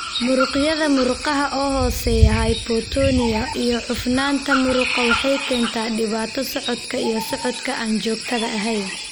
Muruqyada murqaha oo hooseeya (hypotonia) iyo cufnaanta muruqa waxay keentaa dhibaato socodka iyo socodka aan joogtada ahayn.